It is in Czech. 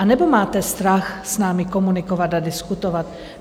Anebo máte strach s námi komunikovat a diskutovat?